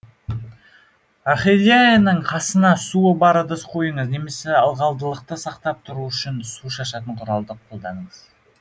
орхидеяның қасына суы бар ыдыс қойыңыз немесе ылғалдылықты сақтап тұру үшін су шашатын құралдар қолданыңыз